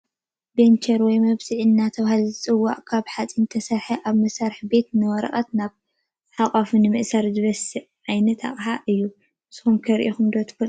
ባንቸር /መብሲዒ/ እንዳተባሃለ ዝፅዋዕ ካብ ሓፂን ዝተሰረሓ ኣብ መስራቤታት ንወረቀት ናብ ኣቃፊ ንምእሳር ዝበስዓልና ዓይነት ኣቅሓ እዩ። ንስኩም ከ ሪኢኩሞ ትፈልጡ ዶ?